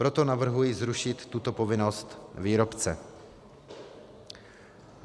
Proto navrhuji zrušit tuto povinnost výrobce.